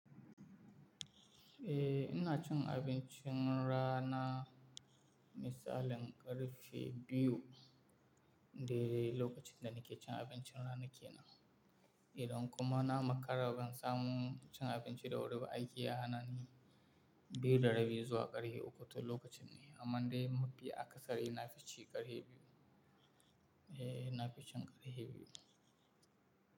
Eh ina cin abincin rana misalin ƙarfe biyu daide lokacin da nake cin abincin rana kenan. Idan kuma na makara ban samu cin abinci da wuri ba, aiki ya hana ni, biyu da rabi zuwa ƙarfe uku to lokacin ne. Amma dai mafi akasari na fici ƙarfe biyu. Eh na fi cin ƙarfe biyu.